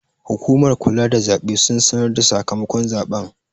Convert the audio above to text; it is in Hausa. Hukumar kula da zaɓe sun sanarda sakamakon zaɓen